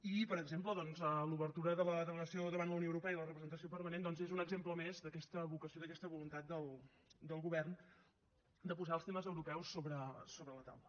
i per exemple doncs l’obertura de la delegació davant la unió europea de la representació permanent doncs és un exemple més d’aquesta vocació i d’aquesta voluntat del govern de posar els temes europeus sobre la taula